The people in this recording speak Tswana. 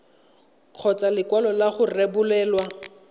kgotsa lekwalo la go rebolelwa